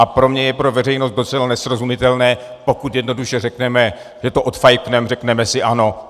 A pro mě je pro veřejnost docela nesrozumitelné, pokud jednoduše řekneme, že to odfajfknem, řekneme si ano.